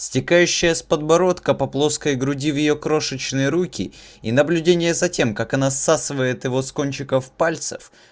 стекающая с подбородка по плоской груди в её крошечный руки и наблюдение за тем как она отсасывает его с кончиков пальцев